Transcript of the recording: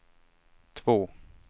två